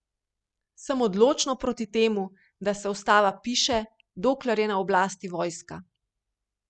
Sem odločno proti temu, da se ustava piše, dokler je na oblasti vojska.